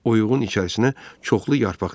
Uyğun içərisinə çoxlu yarpaq döşədi.